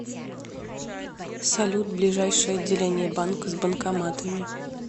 салют ближайшее отделение банка с банкоматами